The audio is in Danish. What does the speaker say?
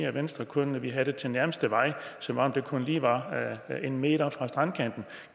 at venstre kun vil have den til nærmeste vej som om det kun lige var en meter fra strandkanten